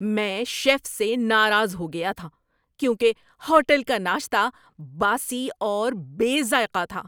میں شیف سے ناراض ہو گیا تھا کیونکہ ہوٹل کا ناشتہ باسی اور بے ذائقہ تھا۔